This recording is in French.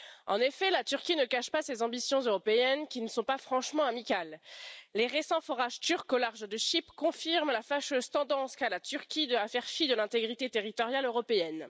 En effet, ce pays ne cache pas ses ambitions européennes, qui ne sont pas franchement amicales. Les récents forages turcs au large de Chypre confirment la fâcheuse tendance qu'a la Turquie de faire fi de l'intégrité territoriale européenne.